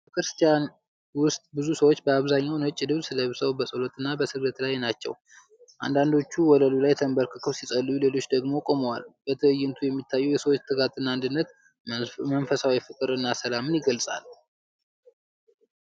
ቤተ ክርስቲያን ውስጥ ብዙ ሰዎች በአብዛኛው ነጭ ልብስ ለብሰው በጸሎትና በስግደት ላይ ናቸው። አንዳንዶቹ ወለሉ ላይ ተንበርክከው ሲጸልዩ፣ ሌሎች ደግሞ ቆመዋል። በትዕይንቱ የሚታየው የሰዎች ትጋትና አንድነት መንፈሳዊ ፍቅርን እና ሰላምን ይገልፃል።